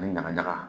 Ani ɲaga ɲaga